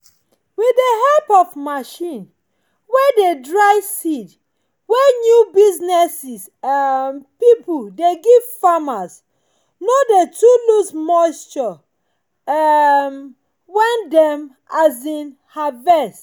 with dey help of machine wey dey dry seed wey new business um pipo dey give farmers no dey too loose moisture um when dem um harvest